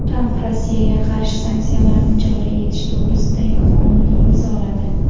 Tramp Rossiyaga qarshi sanksiyalarni joriy etish to‘g‘risidagi qonunni imzoladi.